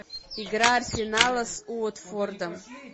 игра арсенала с уотфордом